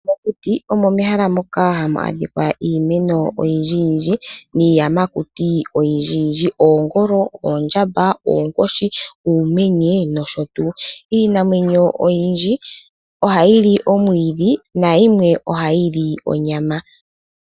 Mokuti omo mehala moka hamu adhika iimeno oyindjiyindji, noshowo iinamwenyo oyindjiyindji, ngaashi; oongolo, oondjamba, oonkoshi, uumenye, nosho tuu. Iinamwenyo oyindji ohayi li omwiidhi, nayimwe ohayi li onyama.